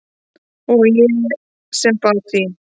Og ég sem bað þín!